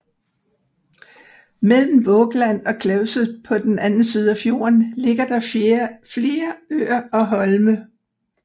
Mellem Vågland og Klevset på den anden side af fjorden ligger der flere øer og holme